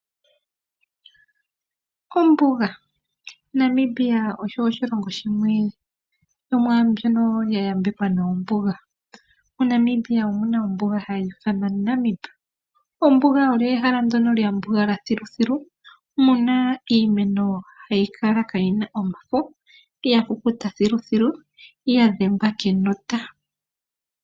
Ombuga, Namibia osho oshilongo shimwe shomwaambyono ya yambekwa noombuga. MoNamibia omu na ombuga hayi ithanwa Namib. Ombuga olyo ehala ndono lya mbugala thiluthilu mu na iimeno hayi kala kaa yi na omafo ya kukuta thiluthilu ya dhengwa kenota.